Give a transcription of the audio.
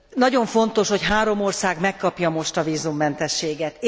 Nagyon fontos, hogy három ország megkapja most a vízummentességet.